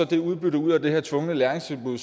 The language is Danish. det udbytte ud af det her tvungne læringstilbud